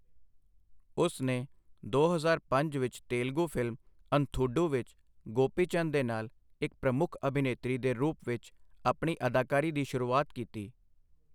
ਉਸ ਨੇ ਦੋ ਹਜ਼ਾਰ ਪੰਜ ਵਿੱਚ ਤੇਲਗੂ ਫਿਲਮ ਅੰਧ੍ਰੂਡੂ ਵਿੱਚ ਗੋਪੀਚੰਦ ਦੇ ਨਾਲ ਇੱਕ ਪ੍ਰਮੁੱਖ ਅਭਿਨੇਤਰੀ ਦੇ ਰੂਪ ਵਿੱਚ ਆਪਣੀ ਅਦਾਕਾਰੀ ਦੀ ਸ਼ੁਰੂਆਤ ਕੀਤੀ।